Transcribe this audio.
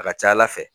A ka ca ala fɛ